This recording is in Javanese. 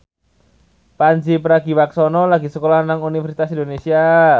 Pandji Pragiwaksono lagi sekolah nang Universitas Indonesia